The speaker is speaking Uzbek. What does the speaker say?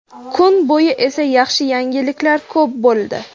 Kun bo‘yi esa yaxshi yangiliklar ko‘p bo‘ldi.